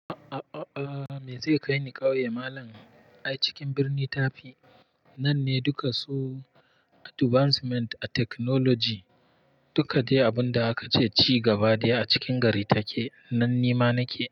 A'a, me zai kai ni ƙauye malam? Ai cikin birni tafi. Nan ne duka su advancement a technology. Duka dai abun da aka ce ci gaba dai a cikin gari take. Nan ni ma nake.